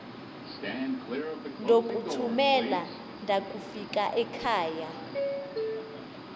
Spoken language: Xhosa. ndokuthumela ndakufika ekhava